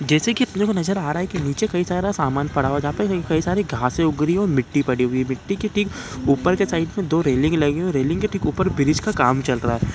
जैसे के अपने को नज़र आ रहा है कि नीचे कई सारा समान पड़ा हुआ है जहाँ पर कई सारी घासें उग रही है और मिट्टी पड़ी हुई है और मिट्टी के ठीक ऊपर के साइड में दो रेलिंग लगी हुई है रेलिंग के ठीक ऊपर ब्रिज का काम चल रहा है।